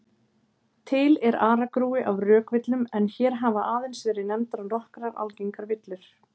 Til er aragrúi af rökvillum en hér hafa aðeins verið nefndar nokkrar algengar villur.